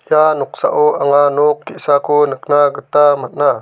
noksao anga nok ge·sako nikna gita man·a.